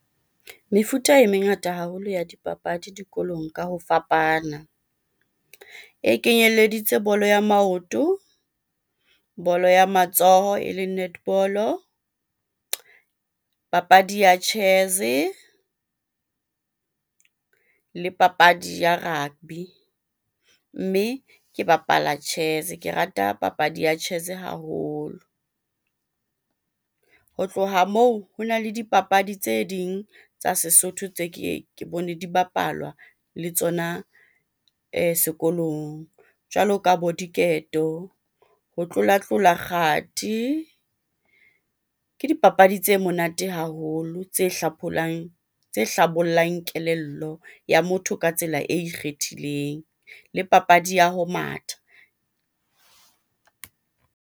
Mefuta e mengata haholo ya dipapadi dikolong ka ho fapana. E kenyeleditse bolo ya maoto, bolo ya matsoho eleng netball-o, papadi ya chess-e, le papadi ya rugby. Mme ke bapala chess, ke rata papadi ya chess haholo. Ho tloha moo hona le dipapadi tse ding tsa Sesotho tse keye ke bone di bapalwa le tsona sekolong jwalo ka bo diketo, ho tlolatlola kgathi. Ke dipapadi tse monate haholo tse hlapholang, tse hlabollang kelello ya motho ka tsela e ikgethileng le papadi ya ho matha.